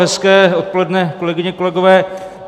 Hezké odpoledne, kolegyně, kolegové.